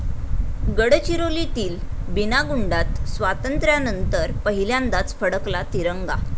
गडचिरोलीतील बीनागुंडात स्वातंत्र्यानंतर पहिल्यांदाच फडकला तिरंगा